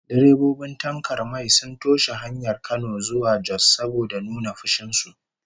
Direbobin tankar mai sun toshe hanyar Kano zuwa Jos saboda nuna fushin su